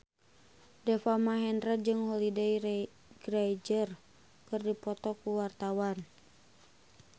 Deva Mahendra jeung Holliday Grainger keur dipoto ku wartawan